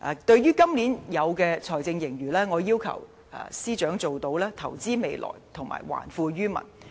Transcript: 對於今年的財政盈餘，我要求司長做到投資未來和還富於民。